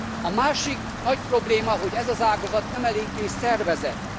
A másik nagy probléma, hogy ez az ágazat nem eléggé szervezett.